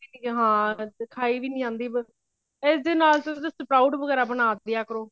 ਹਾਂ ਖਾਈ ਵੀ ਨਹੀਂ ਜਾਂਦੀ ਇਸ ਦੇ ਨਾਲੋਂ ਤਾਂ ਤੁਸੀਂ south ਵਗੇਰਾ ਬਣਾ ਦੀਆ ਕਰੋ